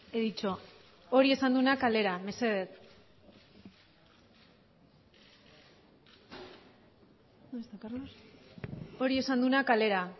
he dicho hori esan duena kalera mesedez hori esan duena kalera